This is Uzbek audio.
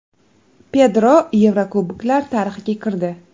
Pedro Yevrokuboklar tarixiga kirdi.